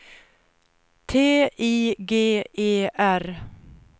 T I G E R